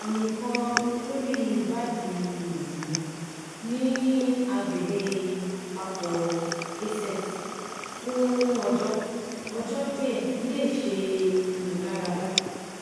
ami kan lori ibadi osi mi ni agbegbe ipapo aces fun ojo ojo die ile ise imularada